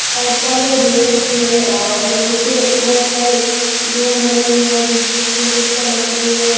शायद कॉलेज हो सकती है और नीचे बहुत सारे रूम बने हुए हैं बीच बीच में खिड़कियां लगी हुई हैं।